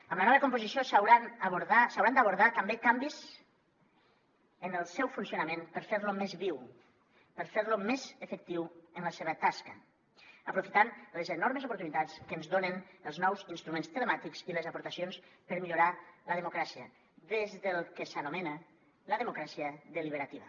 amb la nova composició s’hauran d’abordar també canvis en el seu funcionament per fer lo més viu per fer lo més efectiu en la seva tasca aprofitant les enormes oportunitats que ens donen els nous instruments telemàtics i les aportacions per millorar la democràcia des del que s’anomena la democràcia deliberativa